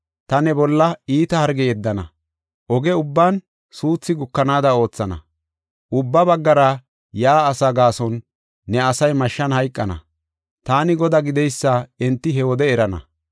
Ta ne bolla iita harge yeddana; oge ubban suuthi gukanaada oothana. Ubba baggara yaa olaa gaason ne asay mashshan hayqana. Taani Godaa gideysa enti he wode erana.